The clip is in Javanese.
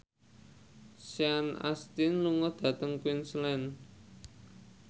Sean Astin lunga dhateng Queensland